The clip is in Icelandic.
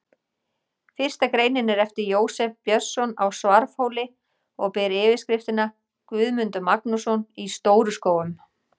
Fyrsta greinin er eftir Jósef Björnsson á Svarfhóli og ber yfirskriftina: Guðmundur Magnússon í Stóru-Skógum.